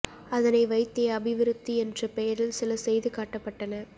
அதனை வைத்தே அபிவிருத்தி என்ற பெயரில் சில செய்து காட்டப்பட்டன